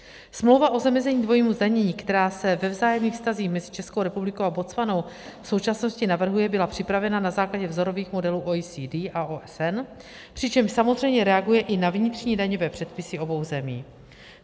Smlouva o zamezení dvojímu zdanění, která se ve vzájemných vztazích mezi Českou republikou a Botswanou v současnosti navrhuje, byla připravena na základě vzorových modelů OECD a OSN, přičemž samozřejmě reaguje i na vnitřní daňové předpisy obou zemí.